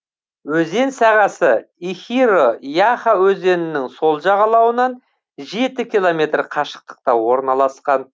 өзен сағасы ихиро яха өзенінің сол жағалауынан жеті километр қашықтықта орналасқан